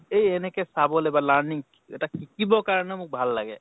এই এনেকে চাবলে বা learning এটা শিকিব কাৰণে মোক ভাল লাগে।